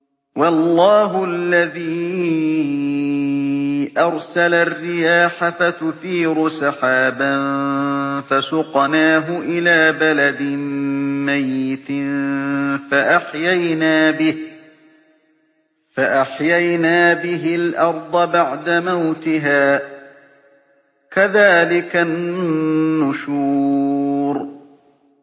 وَاللَّهُ الَّذِي أَرْسَلَ الرِّيَاحَ فَتُثِيرُ سَحَابًا فَسُقْنَاهُ إِلَىٰ بَلَدٍ مَّيِّتٍ فَأَحْيَيْنَا بِهِ الْأَرْضَ بَعْدَ مَوْتِهَا ۚ كَذَٰلِكَ النُّشُورُ